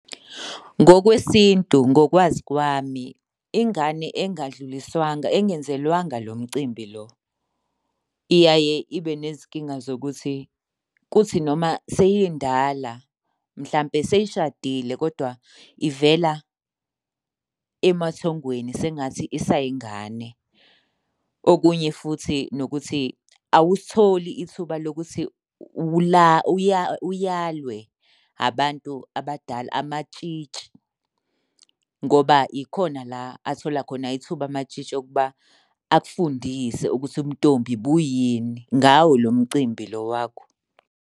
Ngokwesintu, ngokwazi kwami, ingane engadluliswanga engenzelwanga lo mcimbi lo iyaye ibe nezinkinga zokuthi kuthi noma seyindala mhlampe seyishadile kodwa ivela emathongweni sengathi isayingane. Okunye futhi nokuthi awusitholi ithuba lokuthi uyalwe abantu abadala, amatshitshi ngoba ikhona la athola khona ithuba amatshitshi okuba akufundise ukuthi ubuntombi buyini, ngawo lo mcimbi lo wakho.